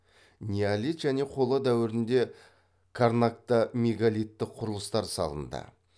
неолит және қола дәуірінде карнакта мегалиттік құрылыстар салынды